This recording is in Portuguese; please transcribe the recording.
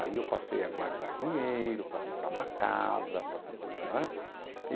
Aí eu passei a guardar dinheiro para comprar uma casa para comprar, não é?